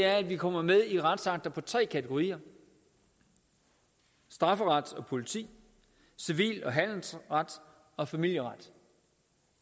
er at vi kommer med i retsakter på tre kategorier strafferet og politi civil og handelsret og familieret